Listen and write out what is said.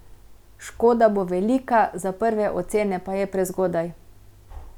Škoda bo velika, za prve ocene pa je prezgodaj.